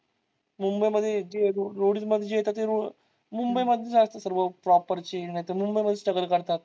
मुंबई मध्ये ते roadies म्हणजे ते मुंबई मध्ये जायचं सर्व proper ची नैतर मुंबई मध्येच struggle करतात.